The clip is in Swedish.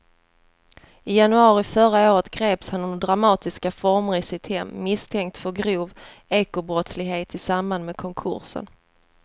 I januari förra året greps han under dramatiska former i sitt hem misstänkt för grov ekobrottslighet i samband med konkursen.